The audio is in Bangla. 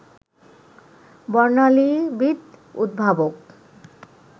বর্ণালীবিদ, উদ্ভাবক